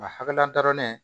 A hakilila dɔrɔn ne